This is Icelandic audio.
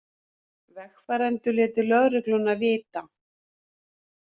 Vegfarendur létu lögregluna vita